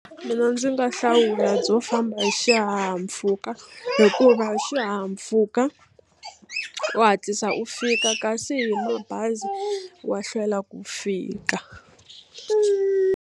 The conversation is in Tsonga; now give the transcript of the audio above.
Mina ndzi nga hlawula byo famba hi xihahampfhuka hikuva hi xihahampfhuka u hatlisa u fika kasi hi mabazi wa hlwela ku fika.